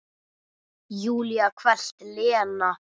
Júlía hvellt: Lena!